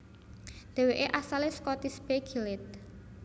Dhèwèké asalé saka Tisbe Gilead